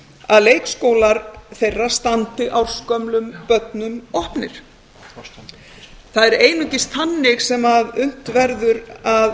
að leikskólar þeirra standi ársgömlum börnum opnir það er einungis þannig sem unnt verður að